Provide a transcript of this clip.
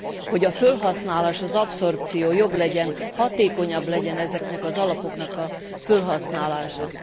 hogy a felhasználás, az abszorpció jobb legyen, hatékonyabb legyen ezeknek az alapoknak a felhasználása.